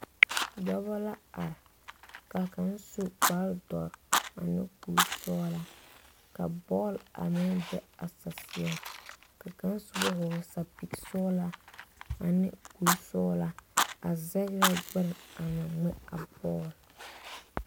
Dɔbɔ la are ka kaŋ su kparre dɔre ane kuri sɔglaa ka bɔl a meŋ be a saseɛŋ ka kaŋa soba vɔgle sapili sɔglaa ane kuri sɔglaa a zɛgrɛ gbɛre a ŋmɛ a bɔl.